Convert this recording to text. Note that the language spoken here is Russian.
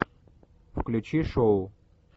включи шоу